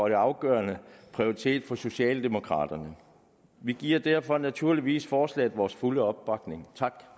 en afgørende prioritet for socialdemokraterne vi giver derfor naturligvis forslaget vores fulde opbakning